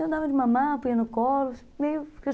Eu dava de mamar, punha no colo, meio